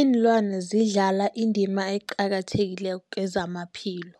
Ilwana zidlala indima eqakathekileko kezamaphilo,